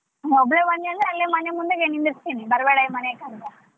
ನೀನ್ ಒಬ್ಳೆ ಬಂದಿ ಅಂದ್ರೆ ಅಲ್ಲೆ ಮನಿ ಮುಂದೆಗೆ ನಿಂದಿರ್ಸ್ತೀನಿ ಬರಬೇಡ ಈ ಮನೆಗ್ ಅಂತ.